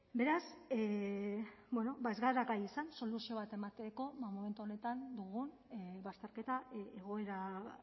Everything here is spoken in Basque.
beraz ez gara gai izan soluzio bat emateko momentu honetan dugun bazterketa egoera